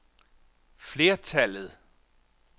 flertallet